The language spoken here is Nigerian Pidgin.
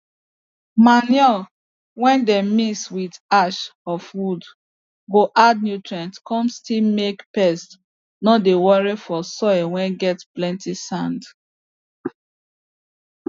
manure whey dem mix with ashes of wood go add nutrients come still make pests no dey worry for soil whey get plenty sand